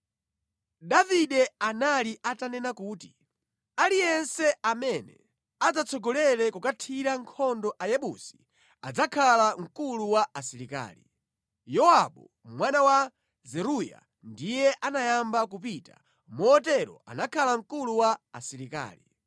Davide anali atanena kuti “Aliyense amene adzatsogolere kukathira nkhondo Ayebusi adzakhala mkulu wa asilikali.” Yowabu mwana wa Zeruya ndiye anayamba kupita, motero anakhala mkulu wa asilikali.